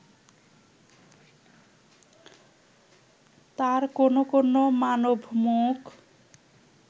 তাঁর কোনো কোনো মানবমুখ